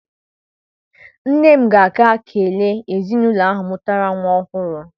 Nne m ga-aga kelee ezinaụlọ ahụ mụtara nwa ọhụrụ.